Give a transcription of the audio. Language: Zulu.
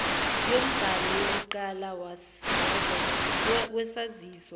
yombhalo wokuqala wesaziso